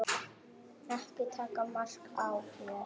Ekki taka mark á mér.